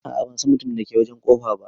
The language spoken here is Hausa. A'a ban San mutumin da ke wajen kofa ba.